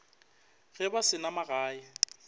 ge ba se na magae